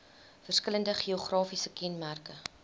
verskillende geografiese kenmerke